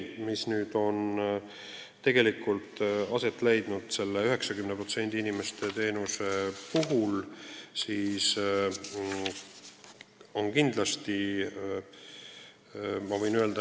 Ja 90% inimestest on kindlasti rahul olnud.